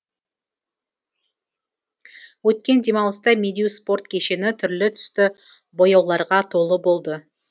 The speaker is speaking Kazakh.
өткен демалыста медеу спорт кешені түрлі түсті бояуларға толы болды